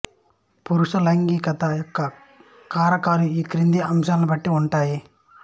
పురుష లైంగికత యొక్క కారకాలు ఈ క్రింది అంశాలను బట్టి ఉంటాయి